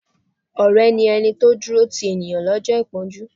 Ọ̀rẹ́ ni ẹni tí ó ń dúró ti ènìyàn lọ́jọ́ ìpọ́njú.